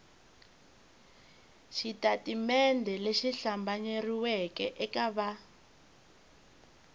xitatimende lexi hlambanyeriweke eka va